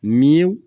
Mi